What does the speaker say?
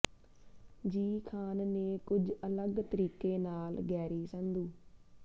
ਜੀ ਖਾਨ ਨੇ ਕੁਝ ਅਲੱਗ ਤਰੀਕੇ ਨਾਲ ਗੈਰੀ ਸੰਧੂ